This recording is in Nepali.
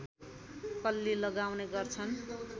कल्ली लगाउने गर्छन्